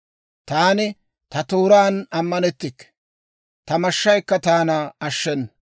Taani ta tooraan ammanettikke; ta mashshaykka taana ashshenna.